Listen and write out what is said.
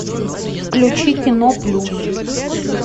включи кино плюс